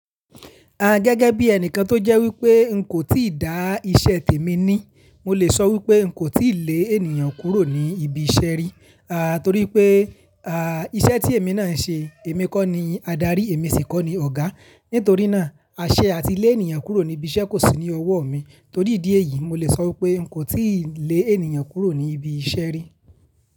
A gẹ́gẹ́ bí ẹnìkan tó jẹ́ wípé n kò tíì dá iṣẹ́ tèmi ni, mo lè sọ wípé n kò tíì lé ènìyàn kúrò ní ibi iṣẹ́ rí. A torí pé à iṣẹ́ tí èmi náà ń ṣe, èmi kọ́ ni adarí, èmi sì kọ́ ni ọ̀gá. Nítorí náà, aṣẹ àti lé ènìyàn kúrò ní ibi iṣẹ́ kò sí ní ọwọ́ mi. Torí ìdí èyí, mo lè sọ wípé n kò tíì lé ènìyàn kúrò ní ibi iṣẹ́ rí.